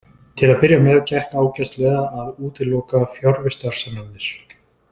Til að byrja með gekk ágætlega að útiloka fjarvistarsannanir.